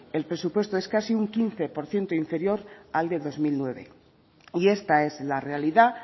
el presupuesto es casi un quince por ciento inferior al de dos mil nueve y esta es la realidad